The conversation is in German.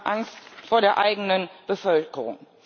Sie haben Angst vor der eigenen Bevölkerung.